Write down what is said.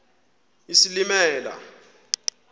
isilimela